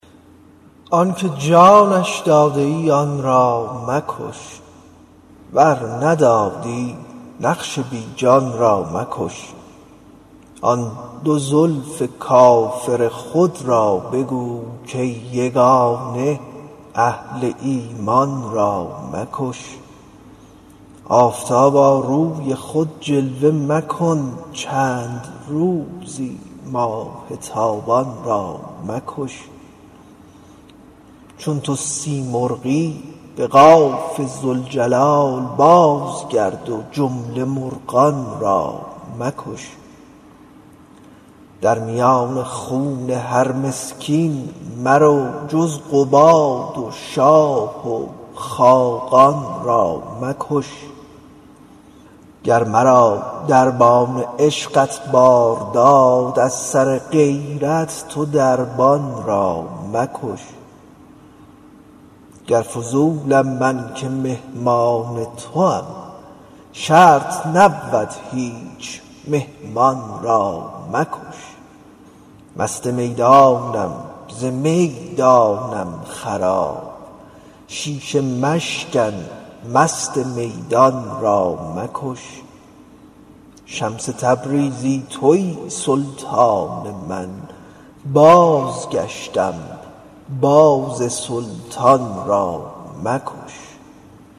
آنک جانش داده ای آن را مکش ور ندادی نقش بی جان را مکش آن دو زلف کافر خود را بگو کای یگانه اهل ایمان را مکش آفتابا روی خود جلوه مکن چند روزی ماه تابان را مکش چون تو سیمرغی به قاف ذوالجلال بازگرد و جمله مرغان را مکش در میان خون هر مسکین مرو جز قباد و شاه خاقان را مکش گر مرا دربان عشقت بار داد از سر غیرت تو دربان را مکش گر فضولم من که مهمان توام شرط نبود هیچ مهمان را مکش مست میدانم ز می دانم خراب شیشه مشکن مست میدان را مکش شمس تبریزی توی سلطان من بازگشتم باز سلطان را مکش